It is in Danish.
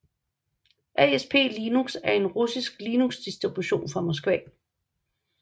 ASP Linux er en russisk Linuxdistribution fra Moskva